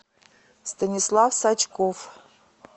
станислав сачков